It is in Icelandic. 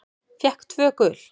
Fékk tvö gul.